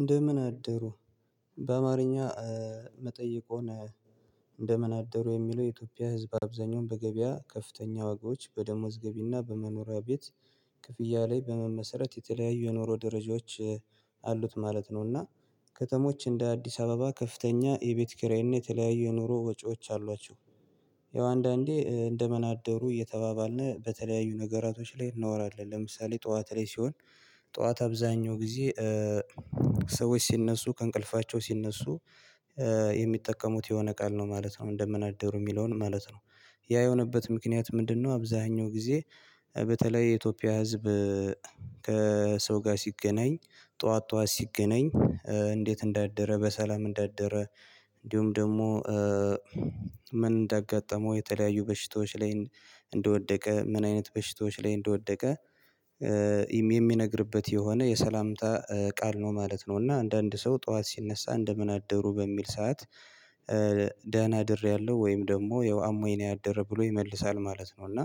እንደምን አደሩ በአማርኛ የምጠየቅወን እንደምን አደሩ የሚለው የኢትዮጵያ ህዝብ አብዛኛውን በገበያ ከፍተኛ ዋጋዎች በደሞዝ ገቢና በመኖሪያ ቤት ክፍያ ላይ በመመሰረት የተለያዩ የኑሮ ደረጃዎች አሉት ማለት ነው። እና ከተሞች እንደ አዲስ አበባ ከፍተኛ የቤት ክራይን የተለያየ ኑሮ ወጪዎች አሏቸው። ይሄው አንዳንዴ እንደምንደአደሩ እየተባባልን በተለያዩ ነገራቶች ላይ እናወራለን ለምሳሌ ጠዋት ላይ ሲሆን ጠዋት አብዛኛው ጊዜ ሰዎች ሲነሱ ከእንቅልፋቸው ሲነሱ የሚጠቀሙት የሆነ ቃል ነው ማለት ነው። እንደምናደሩ የሚለውን ማለት ነው ያ የሆነበት ምክንያት ምንድነው? አብዛኛው ጊዜ በተለይ የኢትዮጵያ ህዝብ ከሰው ጋር ሲገናኝ ጠዋት ጠዋት ሲገናኝ እንዴት እንዳደረ በሰላም እንዳደረ እንዲሁም ደግሞ ምን እንዳጋጠመው የተለያዩ በሽታዎች ላይ እንደወደቀ ምን አይነት በሽታዎች ላይ እንደወደቀ የሚነግርበት የሆነ የሰላምታ ቃል ነው ማለት ነው። እና አንዳንድ ሰው ጠዋት ሲነሳ እንደምን አደሩ በሚል ሰዓት ደህና አድሬያለሁ ወይም ደግሞ ያው አሞኝ ነው ያደረ ብሎ ይመልሳል ማለት ነው። እና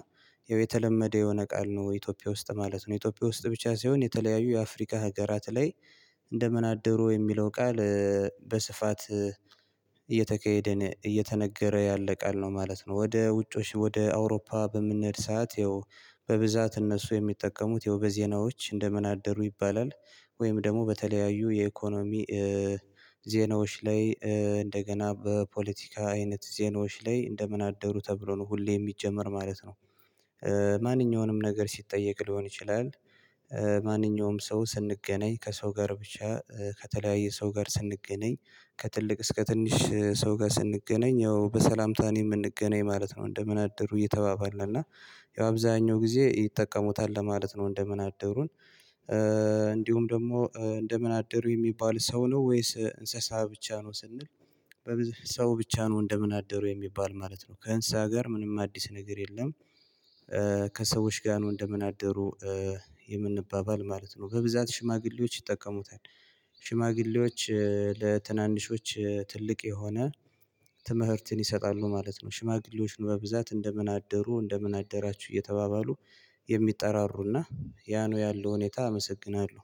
የተለመደው የሆነ ቃል ነው ኢትዮጵያ ውስጥ ማለት ነው ኢትዮጵያ ውስጥ ብቻ ሳይሆን የተለያዩ የአፍሪካ ሀገራት ላይ እንደምን አደሩ የሚለው ቃል በስፋት እየተካሄደን እየተነገረ ያለ ቃል ነው ማለት ነው። ወደ ውጮች ወደ አውሮፓ በምንሄድ ሰዓት ይኸው በብዛት እነሱ የሚጠቀሙት ያው በዜናዎች እንደምን አደሩ ይባላል ወይም ደግሞ በተለያዩ የኢኮኖሚ ዜናዎች ላይ እንደገና በፖለቲካ አይነት ዜናዎች ላይ እንደምን አደሩ ተብሎ ነው ሁሌ የሚጀመር ማለት ነው። ማንኛውንም ነገር ሲጠየቅ ሊሆን ይችላል። ማንኛውም ሰው ስንገናኝ ከሰው ጋር ብቻ ከተለያየ ሰው ጋር ስንገናኝ ከትልቅ እስከ ትንሽ ሰው ጋር ስንገናኝ ያው በሰላምታ ነው የምንገናኝ ማለት ነው። እንደምን አደሩ እየተባባለ እና ያው አብዛኛው ጊዜ ይጠቀሙታል ለማለት ነው እንደምን አደሩን። እንዲሁም ደግሞ እንደምን አደሩ የሚባል ሰው ነው ወይስ እንስሳ ብቻ ነው ስንል? በብዙ ሰው ብቻ ነው እንደምን አደሩ የሚባል ማለት ነው ከእንስሳ ጋር ምንም አዲስ ነገር የለም። ከሰዎች ጋር ነው እንደምን አደሩ። የምንባባል ማለት ነው በብዛት ሽማግሌዎች ይጠቀሙታል። ሽማግሌዎች ለትናንሾች ትልቅ የሆነ ትምህርትን ይሰጣሉ ማለት ነው። ሽማግሌዎች በብዛት እንደምን አደሩ እንደምን አደራችሁ እየተባባሉ የሚጠራሩና ያ ነው ያለው ሁኔታ አመሰግናለሁ።